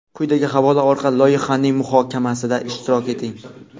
Quyidagi havola orqali loyihaning muhokamasida ishtirok eting:.